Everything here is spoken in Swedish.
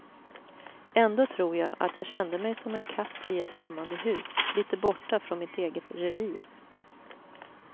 Ändå tror jag att jag kände mig som en katt i ett främmande hus, lite borta från mitt eget revir.